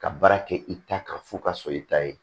Ka baara kɛ i ta kan fo ka sɔrɔ i ta ye